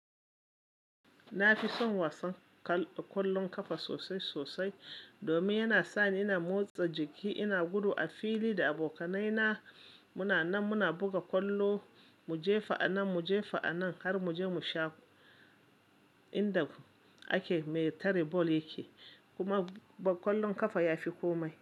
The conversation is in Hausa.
Na fi son wasan ƙwallon ƙafa sosai sosai domin yana sa ni ina motsa jiki, ina gudu a fili da abokanai na muna nan muna buga ƙwallo, muje fa'a nan muje fa'a nan har muje mu sha inda ake me tare bol ya ke. Kuma ƙwallon ƙafa ya fi komai.